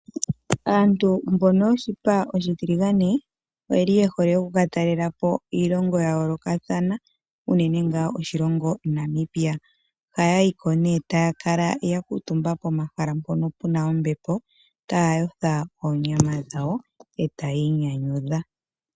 Aantu mbono yoshipa oshitiligane oyeli yehole oku ka talela po Iilongo ya yoolokathana uune tuu oshilongo Namibia. Ohaya yi ko nee etaya kala ya kutumba pomahala mpono puna ombepo taya yotha oonyama dhawo etaya inyanyudha.